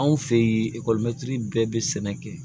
Anw fe ye ekɔlimɛtiri bɛɛ be sɛnɛ kɛ